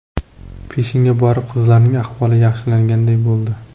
Peshinga borib qizlarning ahvoli yaxshilanganday bo‘ldi.